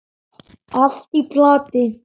Allt í plati.